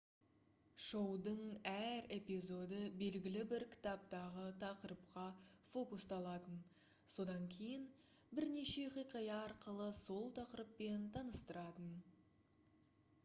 шоудың әр эпизоды белгілі бір кітаптағы тақырыпқа фокусталатын содан кейін бірнеше хикая арқылы сол тақырыппен таныстыратын